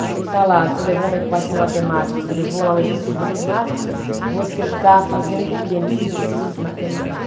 Você está lá, você levou uma equação matemática, você levou lá um exercício de matemática, você está fazendo o que nesse exercício de matemática?